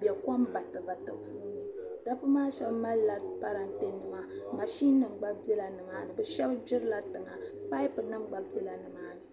bɛ kom batibatini puuni dabba maa shɛba malila paratinima maʒinima gba bɛla nimaani shɛba gburila tiŋa pipunima gba bɛla nimaani.